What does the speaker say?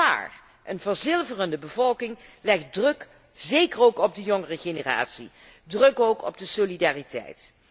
Maar een verzilverende bevolking legt druk, zeker op de jongere generatie, druk ook op de solidariteit.